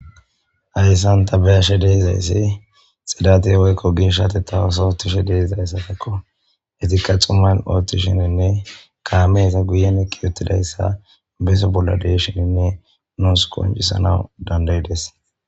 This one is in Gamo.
Hasan ta be ashe dizayisi xifate woyiko geshatetha oso otizayissanne xuma gidiza sohon dizayisa etappe guye bagara kame eqiutitayisa nusi qonccisanaw dandayides